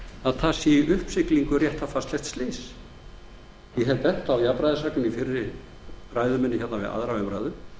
að í uppsiglingu sé réttarfarslegt slys ég benti á jafnræðisregluna í fyrri ræðu minni við aðra umræðu